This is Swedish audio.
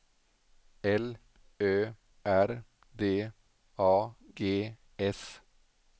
L Ö R D A G S